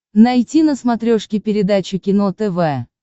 найти на смотрешке передачу кино тв